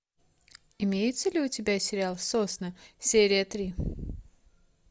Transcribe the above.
имеется ли у тебя сериал сосны серия три